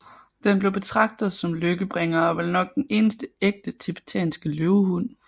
Den blev betragtet som lykkebringer og er vel nok den eneste ægte TIBETANSKE LØVEHUND